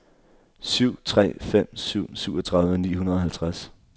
syv tre fem syv syvogtredive ni hundrede og halvtreds